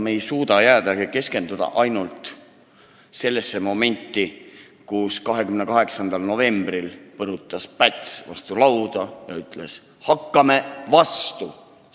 Me ei suuda keskenduda ainult sellele momendile, kui 28. novembril põrutas Päts vastu lauda ja ütles: "Hakkame vastu!